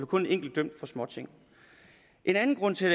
kun en enkelt dømt for småting en anden grund til